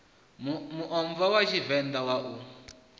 muomva wa tshivenḓa wa u